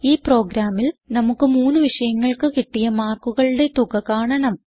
ഈ പ്രോഗ്രാമിൽ നമുക്ക് മൂന്ന് വിഷയങ്ങൾക്ക് കിട്ടിയ മാർക്കുകളുടെ തുക കാണണം